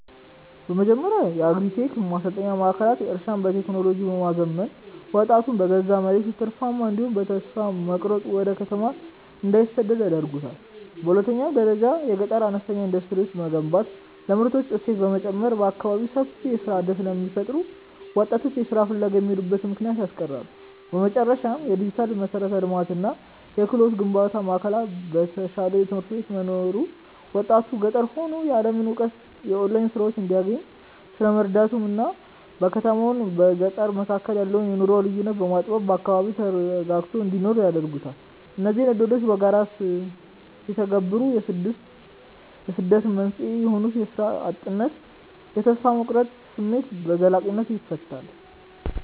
በመጀመሪያ የአግሪ-ቴክ ማሰልጠኛ ማዕከላት እርሻን በቴክኖሎጂ በማዘመን ወጣቱ በገዛ መሬቱ ትርፋማ እንዲሆንና በተስፋ መቁረጥ ወደ ከተማ እንዳይሰደድ ያደርጉታል። በሁለተኛ ደረጃ የገጠር አነስተኛ ኢንዱስትሪዎችን መገንባት ለምርቶች እሴት በመጨመር በአካባቢው ሰፊ የሥራ ዕድል ስለሚፈጥሩ ወጣቶች ለሥራ ፍለጋ የሚሄዱበትን ምክንያት ያስቀራሉ። በመጨረሻም፣ የዲጂታል መሠረተ ልማትና የክህሎት ግንባታ ማዕከላት በተሻሉ ትምህርት ቤቶች መኖሩ ወጣቱ ገጠር ሆኖ የዓለምን እውቀትና የኦንላይን ሥራዎችን እንዲያገኝ ስለሚረዱት እናም በከተማና በገጠር መካከል ያለውን የኑሮ ልዩነት በማጥበብ በአካባቢው ተረጋግቶ እንዲኖር ያደርጉታል። እነዚህ ዕድሎች በጋራ ሲተገበሩ የስደት መንስኤ የሆኑትን የሥራ እጥነትና የተስፋ መቁረጥ ስሜት በዘላቂነት ይፈታሉ።